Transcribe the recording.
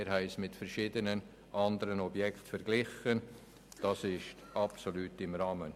Wir haben sie mit verschiedenen anderen Objekten verglichen, und sie sind absolut im Rahmen.